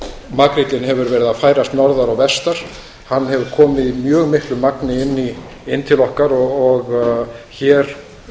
makríllinn hefur verið að færast norðar og vestar hann hefur komið í mjög miklu magni inn til okkar og hér